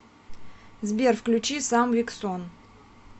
сбер включи сам вик сон